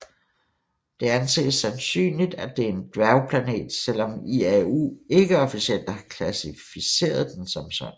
Det anses sandsynligt at det er en dværgplanet selvom IAU ikke officielt har klassificeret den som sådan